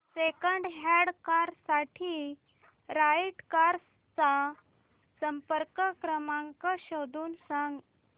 second hand car साठी right cars चा संपर्क क्रमांक शोधून सांग